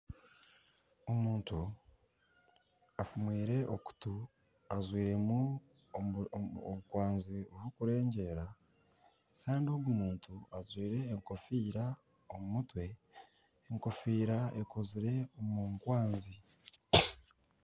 Omuntu afumwire okutu ajwire orukwanzi rurikurengyera kandi ogu muntu ajwire enkofiira omu mutwe, enkofiira ekoziire omu nkwanzi